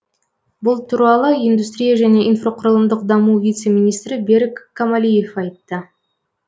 бұл туралы индустрия және инфрақұрылымдық даму вице министрі берік камалиев айтты